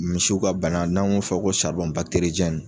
Misiw ka bana n'an ŋ'o fɔ ko